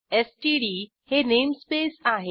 STD हे namespace आहे